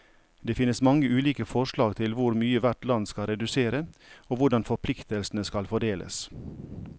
Det finnes mange ulike forslag til hvor mye hvert land skal redusere, og hvordan forpliktelsene skal fordeles.